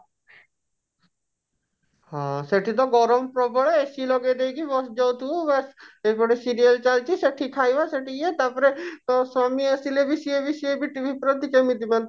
ହଁ ସେଠି ତ ଗରମ ପ୍ରବଳ AC ଲଗେଇଦେଇକି ବସି ଯାଉଥିବୁ ବାସ୍ ଏପଟେ serial ଚାଲିଛି ସେଠି ଖାଇବା ସେଠି ଇଏ ତାପରେ ତୋ ସ୍ଵାମୀ ଆସିଲେ ବି ସିଏ ବି ସିଏ ବି TV ପ୍ରତି କେମିତି ମାନେ